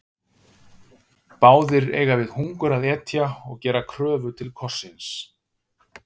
Báðir eiga við hungur að etja og gera kröfu til kossins.